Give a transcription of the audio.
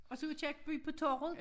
Og så Aakirkeby på torvet